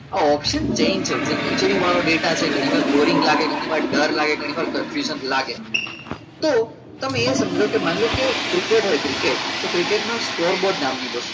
આ option change થશે થશે ખીચડી વાળો ડેટા છે ઘણીવાર boring લાગે ઘણીવાર ડર લાગે ઘણીવાર confused લાગે તો તમે એ સમજો કે માનલો કે ક્રિકેટ હોય ક્રિકેટમાં score board નામની